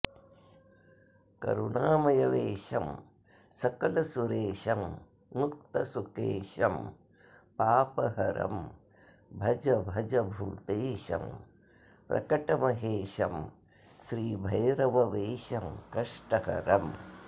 करुणामयवेशं सकलसुरेशं मुक्तसुकेशं पापहरं भज भज भूतेशं प्रकटमहेशं श्रीभैरववेषं कष्टहरम्